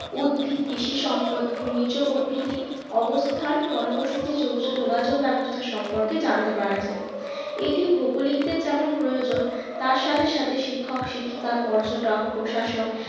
উদ্ভিদ কৃষি সম্পদ খনিজ প্রভিতির অবস্থান জনবসতি যোগাযোগ ব্যবস্থা সম্পর্কে জানতে পারা যায় এটি ভৌগোলিকদের যেমন প্রয়োজন তার সাথে সাথে শিক্ষক শিক্ষিকা পর্যটক প্রশাসক